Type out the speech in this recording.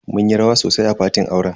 Mun yi rawa sosai a fatin auren.